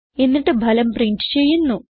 എന്നിട്ട് ഫലം പ്രിന്റ് ചെയ്യുന്നു